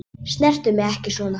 Snertu mig ekki svona.